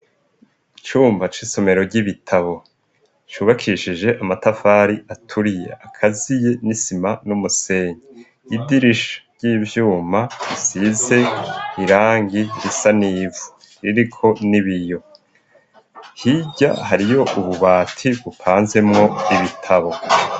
Icumba c'isomero ry'ibitabo cubakishije amatafari aturiye akaziye n'isima n'umusenyi idirisha ry'ivyuma risize irangi risa n'ivu ririko n'ibiyo, hirya hariyo ububati bupanzemwo ibitabo.